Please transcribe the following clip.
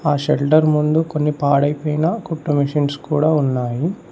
ఆ షెట్టర్ ముందు కొన్ని పాడు అయ్యిపోయిన కుట్టు మెషిన్స్ కూడా ఉన్నాయి.